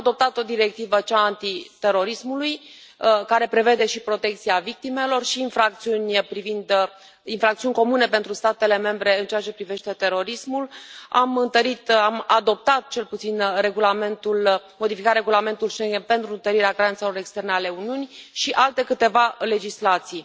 Am adoptat o directivă, cea a antiterorismului, care prevede și protecția victimelor și infracțiuni comune pentru statele membre în ceea ce privește terorismul, am întărit am adoptat cel puțin am modificat Regulamentul Schengen pentru întărirea granițelor externe ale Uniunii și alte câteva legislații.